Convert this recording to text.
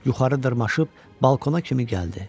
Yuxarı dırmaşıb balkona kimi gəldi.